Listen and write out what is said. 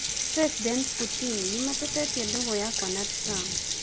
President Putin:Nimatitie ndũgũ yakwa na Trump